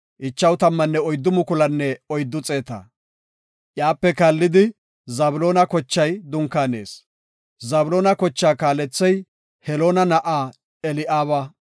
Iyape kaallidi Zabloona kochay dunkaanees. Zabloona kochaa kaalethey Heloona na7aa Eli7aaba.